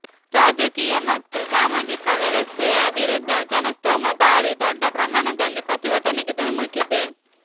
ರಾಜಕೀಯ ಮತ್ತು ಸಾಮಾಜಿಕ ವ್ಯವಸ್ಥೆಯ ವಿರುದ್ದ ಜನಸ್ತೋಮ ಬಾರಿ ದೊಡ್ಡ ಪ್ರಮಾಣದಲ್ಲಿ ಪ್ರತಿಭಟನೆಗೆ ಧುಮುಕಿದೆ